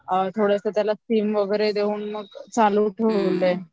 थोडेसे त्याला स्टीम वगैरे देऊन चालू ठेवले ते